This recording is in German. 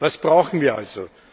Was brauchen wir also?